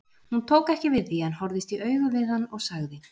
Hún tók ekki við því en horfðist í augu við hann og sagði